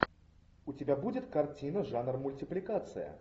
у тебя будет картина жанр мультипликация